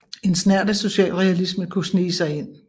En snert af socialrealisme kunne snige sig ind